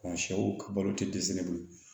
sɛw ka balo te dɛsɛ bolo